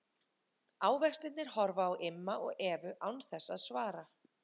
Ávextirnir horfa á Imma og Evu án þess að svara.